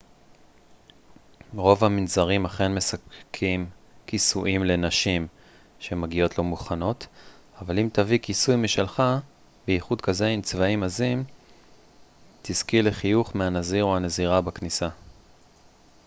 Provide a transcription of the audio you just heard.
רוב המנזרים אכן מספקים כיסויים לנשים שמגיעות לא מוכנות אבל אם תביאי כיסוי משלך בייחוד כזה עם צבעים עזים תזכי לחיוך מהנזיר או הנזירה בכניסה